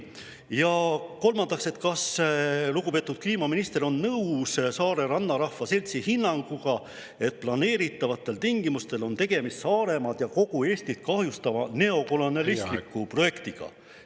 Ja kolmandaks: kas lugupeetud kliimaminister on nõus Saare Rannarahva Seltsi hinnanguga, et planeeritavatel tingimustel on tegemist Saaremaad ja kogu Eestit kahjustava neokolonialistliku projektiga?